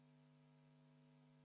V a h e a e g